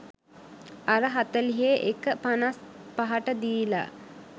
අර හතළිහේ එක පනස් පහටදීලා